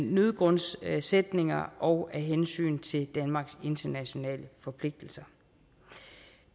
nødgrundssætninger og af hensyn til danmarks internationale forpligtelser